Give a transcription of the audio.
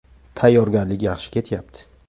Tayyorgarlik yaxshi ketyapti.